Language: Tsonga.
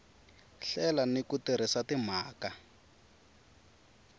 hlela ni ku tirhisa timhaka